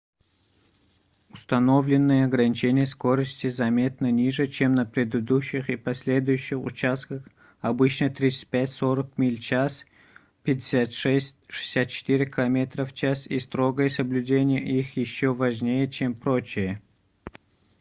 установленные ограничения скорости заметно ниже чем на предыдущих и последующих участках — обычно 35-40 миль/ч 56-64 км/ч — и строгое соблюдение их ещё важнее чем прочее